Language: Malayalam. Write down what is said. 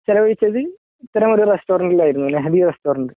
ചില ദിവസങ്ങളിൽ ഇത്രയും വലിയ റസ്റ്റോറൻറലാണ് വരുന്നത് റസ്റ്റോറൻറ്